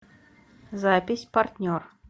запись партнер